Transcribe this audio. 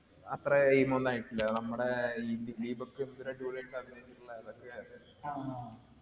അത്രേ ഒന്നും ആയിട്ടില്ല. നമ്മടെ ഈ ദിലീപൊക്കെ